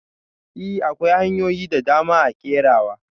I! akwai hanyoyin dadama a kerawa.